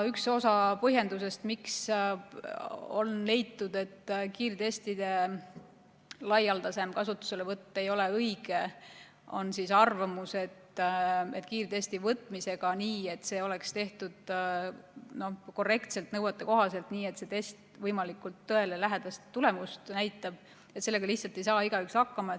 Üks osa põhjendustest, miks on leitud, et kiirtestide laialdasem kasutuselevõtt ei ole õige, on arvamus, et kiirtesti võtmisega – sellega, et see oleks tehtud korrektselt, nõuetekohaselt ja et see test näitaks võimalikult tõelähedast tulemust – lihtsalt ei saa igaüks hakkama.